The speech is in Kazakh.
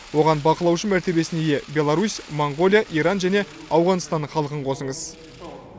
оған бақылаушы мәртебесіне ие беларусь моңғолия иран және ауғанстан халқын қосыңыз